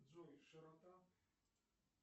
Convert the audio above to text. джой широта